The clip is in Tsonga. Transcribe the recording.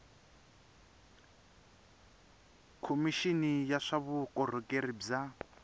khomixini ya swa vukorhokeri bya